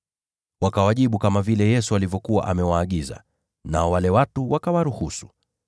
Wakawajibu kama vile Yesu alivyokuwa amewaagiza, nao wale watu wakawaruhusu.